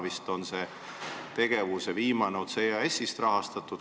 Praegu rahastab selle tegevuse viimast otsa vist EAS.